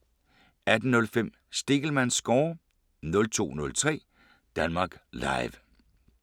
18:05: Stegelmanns score 02:03: Danmark Live *